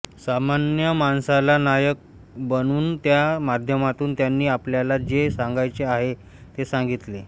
सामान्य माणसाला नायक बनवून त्या माध्यमातून त्यांनी आपल्याला जे सांगायचे आहे ते सांगीतले